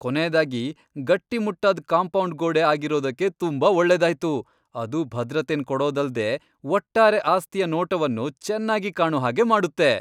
ಕೊನೆಯದಾಗಿ ಗಟ್ಟಿಮುಟ್ಟಾದ್ ಕಾಂಪೌಂಡ್ ಗೋಡೆ ಆಗಿರೋದಕ್ಕೆ ತುಂಬಾ ಒಳ್ಳೆದಾಯ್ತು, ಅದು ಭದ್ರತೆನ್ ಕೊಡೊದಲ್ದೆ ಒಟ್ಟಾರೆ ಆಸ್ತಿಯ ನೋಟವನ್ನು ಚೆನ್ನಾಗಿ ಕಾಣು ಹಾಗೆ ಮಾಡುತ್ತೆ.